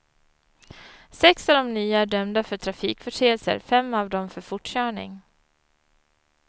Sex av de nya är dömda för trafikförseelser, fem av dem för fortkörning.